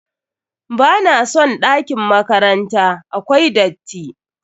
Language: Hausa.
NBa na son ɗakin makranta, akwai datti.